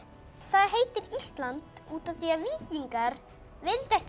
það heitir Ísland út af því að víkingar vildu ekki